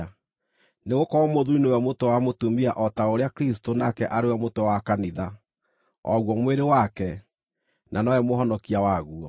Nĩgũkorwo mũthuuri nĩwe mũtwe wa mũtumia o ta ũrĩa Kristũ nake arĩ we mũtwe wa kanitha, o guo mwĩrĩ wake, na nowe Mũhonokia waguo.